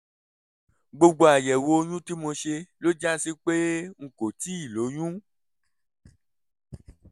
gbogbo àyẹ̀wò oyún tí mo ṣe ló já sí pé n kò tíì lóyún